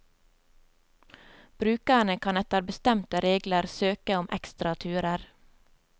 Brukerne kan etter bestemte regler søke om ekstra turer.